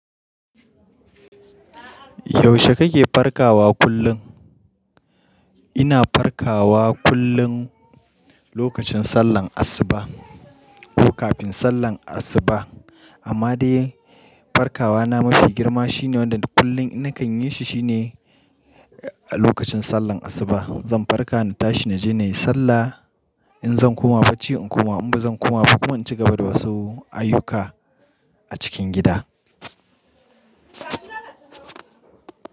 Yaushe kake farkawa kullum? Ina farkawa kullum lokacin sallar asuba ko kafin sallar asuba. Amma dai farkawa na mafi girma shine wanda kullum ina kan yi shi shine a lokacin sallar asuba. Zan farka na tashi na je na yi sallah in zan koma bacci in koma in ba zan koma bacci koma in ci gaba da wasu ayyuka a cikin gida.